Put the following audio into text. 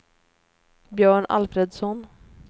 Björn Alfredsson